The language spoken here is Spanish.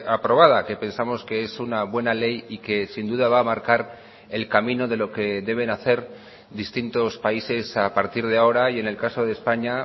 aprobada que pensamos que es una buena ley y que sin duda va a marcar el camino de lo que deben hacer distintos países a partir de ahora y en el caso de españa